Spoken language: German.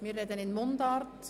Wir sprechen Mundart.